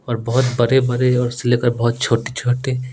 और बहुत बड़े-बड़े और से लेकर छोटे-छोटे--